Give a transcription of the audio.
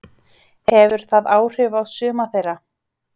Hefur það áhrif á suma þeirra?